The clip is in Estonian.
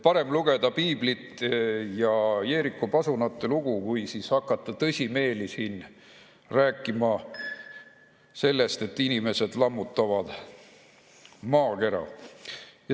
Parem lugeda piiblit ja Jeeriku pasuna lugu, kui hakata tõsimeeli siin rääkima sellest, et inimesed lammutavad maakera.